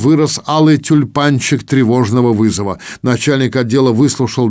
вырос алый тюльпанчик тревожного вызова начальник отдела выслушал